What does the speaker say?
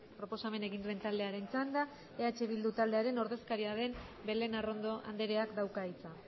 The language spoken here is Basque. proposamena egin duen taldearen txanda eh bildu taldearen ordezkaria den belén arrondo andreak dauka hitza